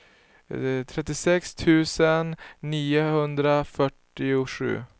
trettiosex tusen niohundrafyrtiosju